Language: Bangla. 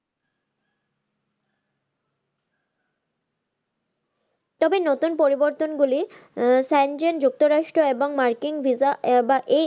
তবে নতুন পরিবর্তন গুলি আহ যুক্ত রাষ্ট্র এবং মার্কিন VISA বা এই